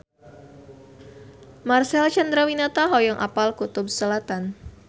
Marcel Chandrawinata hoyong apal Kutub Selatan